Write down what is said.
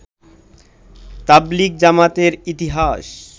তাবলিগ জামাতের ইতিহাস